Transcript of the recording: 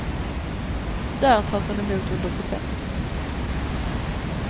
Där tas han emot under protest.